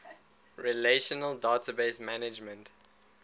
relational database management